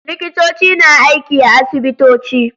Likitoci na aiki a asibitoci.